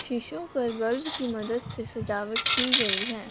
शीशों पर बल्ब की मदत से सजावट की गई है।